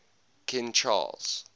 king charles